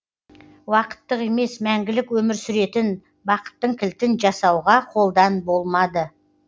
уақыттық емес мәңгілік өмір сүретін бақыттың кілтін жасауға қолдан болмады